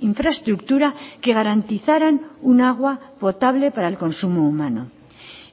infraestructura que garantizaran un agua potable para el consumo humano